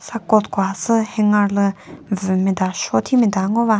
a coat ko khasü hanger lü vü meta show thi meta ngova.